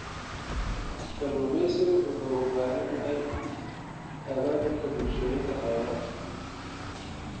Kalluumeysigu wuxuu u baahan yahay abaabulka bulshooyinka xeebaha.